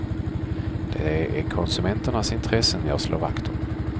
Det är konsumenternas intressen jag slår vakt om.